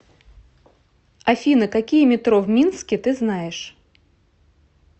афина какие метро в минске ты знаешь